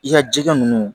I ka jɛgɛ ninnu